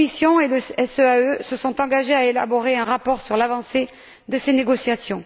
La Commission et le SEAE se sont engagés à élaborer un rapport sur l'avancée de ces négociations.